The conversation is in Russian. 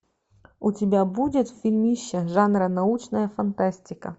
у тебя будет фильмище жанра научная фантастика